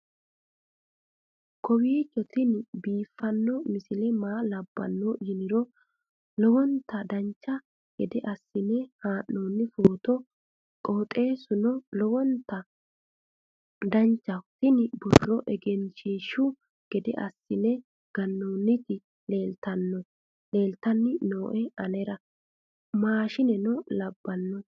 kowiicho tini biiffanno misile maa labbanno yiniro lowonta dancha gede assine haa'noonni foototi qoxeessuno lowonta danachaho. tini borro egenshshiishu gede assine gannoonniti leeltanni nooe anera maashineno labbanno